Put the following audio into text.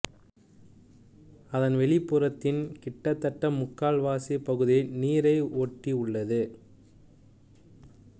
அதன் வெளிப்புறத்தின் கிட்டத்தட்ட முக்கால்வாசி பகுதி நீரை ஒட்டி உள்ளது